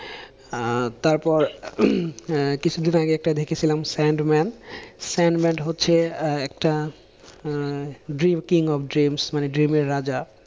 আহ তারপর আহ আগে একটা দেখেছিলাম স্যান্ড ম্যান স্যান্ড ম্যান হচ্ছে আহ একটা আহ ড্রিম কিং অফ ড্রিমস, ড্রিমের রাজা।